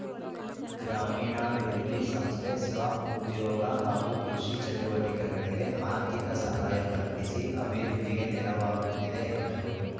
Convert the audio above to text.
ಗ್ರಾಮೀಣ ಅಭಿವೃದ್ಧಿ ಸಂಸ್ಥೆ ಸ್ವಉದ್ಯೋಗ ಹಾಗೂ ಕೃಷಿ ಚಟುವಟಿಕೆಗಳಿಗೆ ಆರ್ಥಿಕ ಸಹಾಯ ಕಲ್ಪಿಸಿ ಅಭಿವೃದ್ಧಿಗೆ ನೆರವಾಗುತ್ತಿದೆ ಎಂದರು